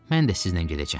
Mən də sizlə gedəcəm.